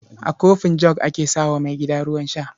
A kofin jug ake sa wa maigida ruwan sha.